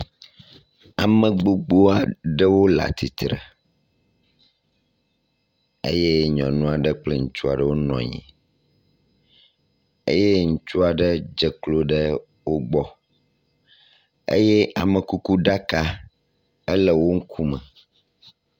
Ame gbogbo aɖewo le atsitre eye nyɔnu aɖe kple ŋutsu aɖe wonɔ nyi eye ŋutsua ɖe dzeklo ɖe wogbɔ, eye amekukuɖaka ele wo ŋku me